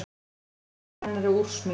Emil pabbi hennar er úrsmiður.